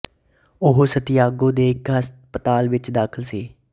ਉਹ ਸਾਂਤੀਆਗੋ ਦੇ ਇੱਕ ਹਸਪਤਾਲ ਵਿੱਚ ਦਾਖ਼ਲ ਸੀ